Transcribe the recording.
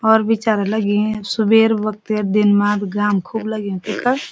और बिचारा लगी सुबेर बक्ति दिन मा भी घाम खुब लग्युं तख।